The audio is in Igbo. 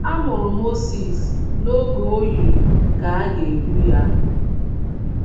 Amụrụ Mozis n’oge o yiri ka à ga - egbu ya.